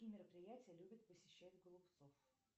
какие мероприятия любит посещать голубцов